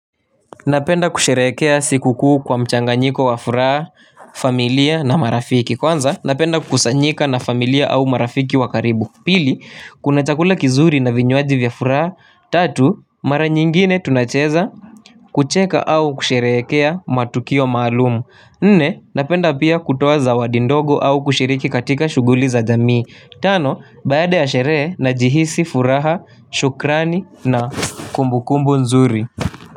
Napenda kusherehekea sikukuu kwa mchanganyiko wa furaha, familia na marafiki. Kwanza, napenda kukusanyika na familia au marafiki wa karibu. Pili, kuna chakula kizuri na vinywaji vya furaha. Tatu, mara nyingine tunacheza. Kucheka au kusherehekea matukio maalumu. Nne, napenda pia kutoa zawadi ndogo au kushiriki katika shughuli za jamii. Tano baada ya sherehe najihisi furaha shukrani na kumbukumbu nzuri.